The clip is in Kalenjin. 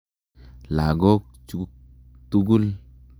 Lagok chuk tukul.